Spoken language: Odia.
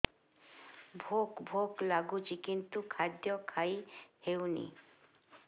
ଭୋକ ଭୋକ ଲାଗୁଛି କିନ୍ତୁ ଖାଦ୍ୟ ଖାଇ ହେଉନି